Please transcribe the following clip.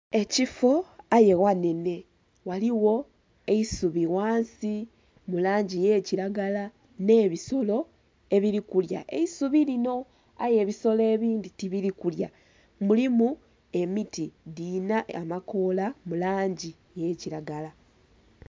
Ekifo aye ghanhenhe ghaligho eisubi ghansi mulangi eyakiragala nh'ebisolo ebiri kulya eisubi linho aye ebisolo ebindhi tibiri kulya, mulimu emiti dhirinha amakola mulangi eyakiragala.